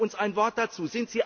Sagen Sie uns ein Wort dazu!